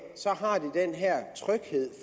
har de den her tryghed